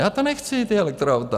Já to nechci, ta elektroauta!